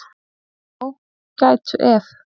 Já, gætu ef.